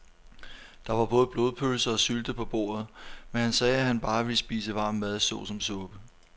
Der var både blodpølse og sylte på bordet, men han sagde, at han bare ville spise varm mad såsom suppe.